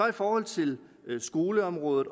i forhold til skoleområdet